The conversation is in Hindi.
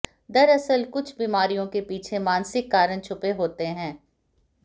दरसल कुछ बीमारियों के पीछे मानसिक कारण छुपे होते हैं